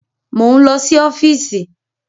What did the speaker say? Mò ń lọ sí ọ́fíìsì.